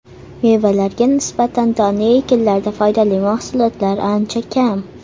Mevalarga nisbatan donli ekinlarda foydali mahsulotlar ancha kam.